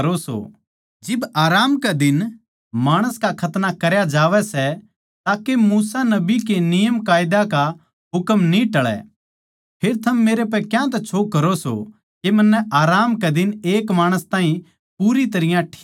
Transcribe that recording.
जिब आराम कै दिन माणस का खतना करया जावै सै ताके मूसा नबी कै नियमकायदा का हुकम न्ही टळै फेर थम मेरै पै क्यांतै छो करो सो के मन्नै आराम कै दिन एक माणस ताहीं पूरी तरियां ठीक करया